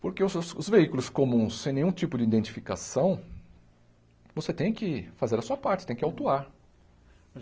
Porque os os veículos comuns, sem nenhum tipo de identificação, você tem que fazer a sua parte, tem que autuar.